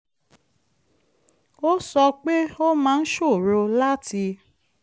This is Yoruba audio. ó sọ pé ó máa ń ṣòro láti